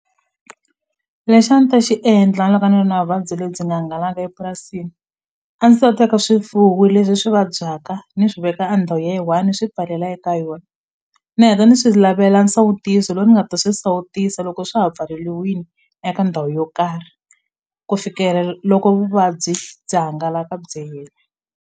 Lexi a ni ta xi endla loko ni ri na vuvabyi lebyi nga hangalaka epurasini a ni ta teka swifuwo leswi swi vabyaka ni swi veka a ndhawu ya yi one ni swi pfalela eka yona ni heta ni swi lavela nsawutiso loyi ni nga ta swi sawutisa loko swa ha pfaleliwini eka ndhawu yo karhi ku fikela loko vuvabyi byi hangalaka byi hela.